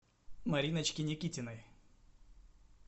мариночке никитиной